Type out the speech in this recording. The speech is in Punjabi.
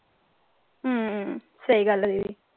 ਹਮ ਸਹੀ ਗੱਲ ਹੈ ਦੀਦੀ।